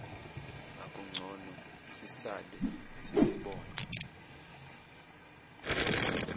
akungcono sisale sesibona